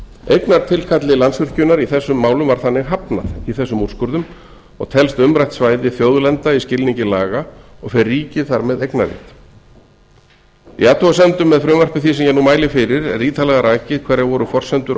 eignartilkalli landsvirkjunar í þessum málum var þannig hafnað í þessum úrskurðum og telst umrætt svæði þjóðlenda í skilningi laga og fer ríkið þar með eignarrétt í athugasemdum með frumvarpi því sem ég nú mæli fyrir er ítarlega rakið hverjar voru forsendur